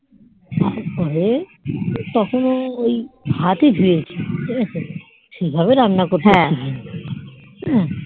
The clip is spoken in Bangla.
হাতই ধুয়েছি ঠিকাছে সেভাবে রান্না করতে শিখিনি হম